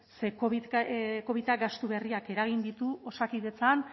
ze covidak gastu berriak eragin ditu osakidetzan